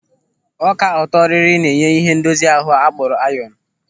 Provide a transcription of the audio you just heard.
Ọka ọtọrịrị na-enye ịhe ndozi ahụ a kpọrọ ayọnu.